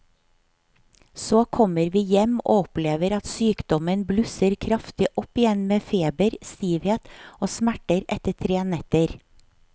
Så kommer vi hjem og opplever at sykdommen blusser kraftig opp igjen med feber, stivhet og smerter etter tre netter.